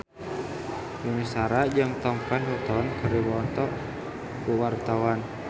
Yuni Shara jeung Tom Felton keur dipoto ku wartawan